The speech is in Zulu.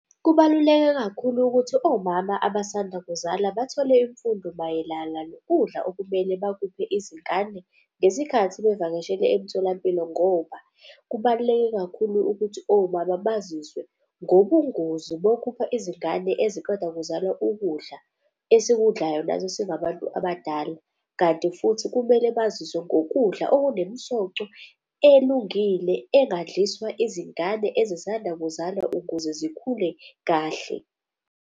Kubaluleke kakhulu ukuthi omama abasanda kuzala bathole imfundo mayelana nokudla okumele bakuphe izingane ngesikhathi bevakashele emtholampilo. Ngoba kubaluleke kakhulu ukuthi omama baziswe ngobungozi bokupha izingane eziqeda kuzalwa ukudla esikudlayo nathi singabantu abadala. Kanti futhi kumele baziswe ngokudla okunemisoco elungile engadliswa izingane ezisanda kuzalwa ukuze zikhule kahle.